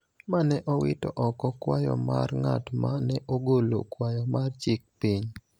ma ne owito oko kwayo mar ng�at ma ne ogolo kwayo mar chik piny.